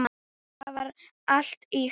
Það var allt ýkt.